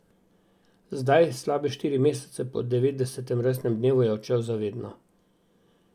Zdaj, slabe štiri mesece po devetdesetem rojstnem dnevu, je odšel za vedno.